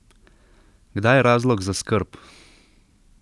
Kdaj je razlog za skrb?